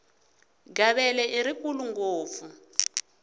gavele i rikulu ngopfu